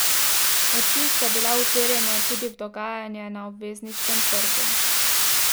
Oči so bile uperjene tudi v dogajanje na obvezniškem trgu.